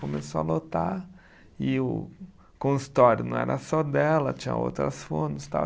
Começou a lotar e o consultório não era só dela, tinha outras fonos tal.